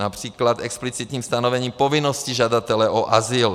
Například explicitní stanovení povinnosti žadatele o azyl.